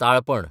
ताळपण